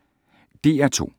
DR2